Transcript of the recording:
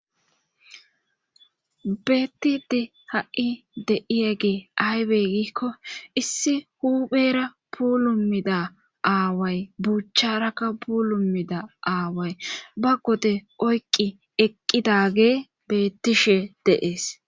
Beettidi ha7i de7iye ge aybe gikko issi huuphera puulummida aaway buucharaka pulumida aaway ba gode oyqqi eqqidage beettishe deees.